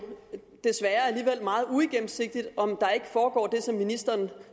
desværre alligevel meget uigennemsigtigt om der ikke foregår det som ministeren